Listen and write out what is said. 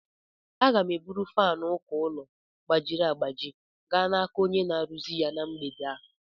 Aga m eburu fánu uko ụlọ gbajiri agbaji gaa n'aka onye na-arụzi ya na mgbede a